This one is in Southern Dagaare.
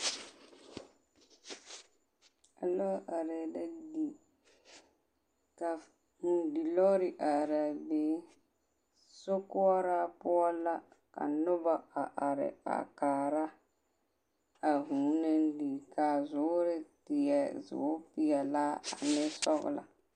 Lɔɔre are la di, ka vʋʋ di lɔɔre are a be, sokoɔraa poɔ la ka noba a are a kaara a vʋʋ naŋ di kaa zuuri e zuuri pelaa ane sɔglɔ.